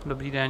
Dobrý den.